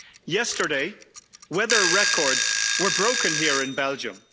Yesterday, weather records were broken here in Belgium.